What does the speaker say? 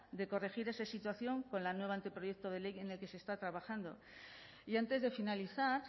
de corregir esa situación con el nuevo anteproyecto de ley en el que se está trabajando y antes de finalizar